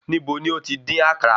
Níbo ni ó ti dín àkàrà?